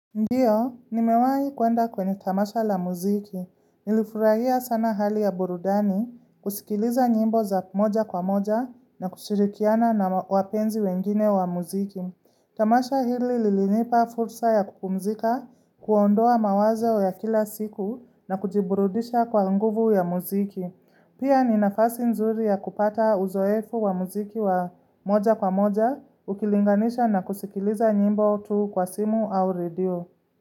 Ndiyo, nimewai kuenda kwenye tamasha la muziki. Nilifurahia sana hali ya burudani, kusikiliza nyimbo za moja kwa moja na kushirikiana na wapenzi wengine wa muziki. Tamasha hili lilinipa fursa ya kupumzika, kuondoa mawazo ya kila siku na kujiburudisha kwa nguvu ya muziki. Pia ni nafasi nzuri ya kupata uzoefu wa muziki wa moja kwa moja, ukilinganisha na kusikiliza nyimbo tu kwa simu au redio.